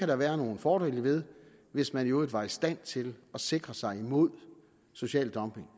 der være nogle fordele ved hvis man i øvrigt var i stand til at sikre sig imod social dumping